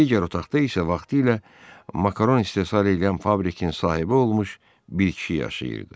Digər otaqda isə vaxtilə Makaron istehsal eləyən fabrikin sahibi olmuş bir kişi yaşayırdı.